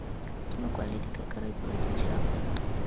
ke mokwaledi kakaretso wa ditšhaba